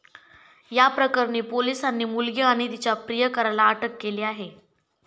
या प्रकरणी पोलिसांनी मुलगी आणि तिच्या प्रियकराला अटक केली आहे.